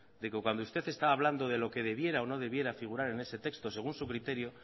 de que cuando usted estaba hablando de lo que debiera o no debiera figurar en ese texto según su criterio